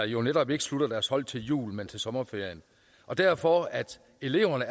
jo netop ikke slutter deres hold til jul men til sommerferien derfor er eleverne